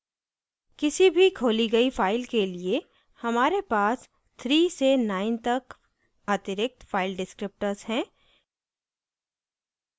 किसी भी खोली गई फ़ाइल के लिए हमारे पास 3 से 9 तक अतिरिक्त file descriptors हैं